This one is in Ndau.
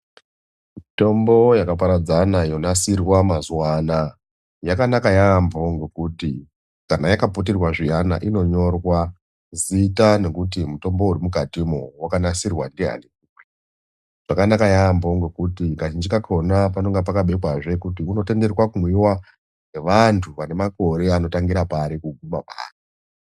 Mitombo yakaparadzana yonasirwa mazuwanaya yakanaka yambo ngekuti kana yakaputirwa zviyana inonyorwa zita nokuti mutombo urimukati umwu wakanasirwa ndiani? Zvakanaka yambo ngokuti kazhinji kakona panonga pakabekwazve kuti unotenderwa kumwiwa ngevantu vanemakore anotangira pari eiguma pari.